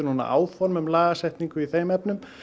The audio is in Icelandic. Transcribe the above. áform um lagasetningu í þeim efnum